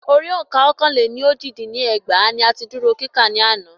Orí òǹkà Ọ́kàn-lé-ní-ójì dín ní ẹgbàá ní a ti dúró kíkà ní àná.